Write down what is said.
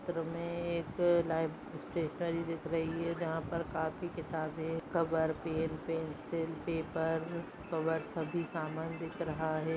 चित्र में एक लाइव स्टैशनेरी दिख रही है जहाँ पर कापी किताबे cover pen pencil paper cover सभी समान दिख रहा हैं।